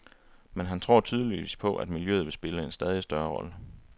Men han tror tydeligvis på, at miljøet vil spille en stadig større rolle.